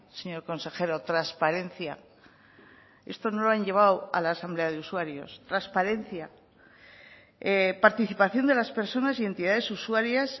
señor consejero transparencia esto no lo han llevado a la asamblea de usuarios transparencia participación de las personas y entidades usuarias